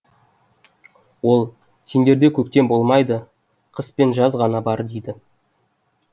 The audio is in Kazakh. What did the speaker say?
ол сендерде көктем болмайды қыс пен жаз ғана бар дейді